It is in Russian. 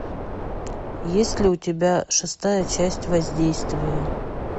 есть ли у тебя шестая часть воздействие